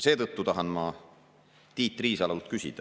Seetõttu tahan ma Tiit Riisalolt küsida …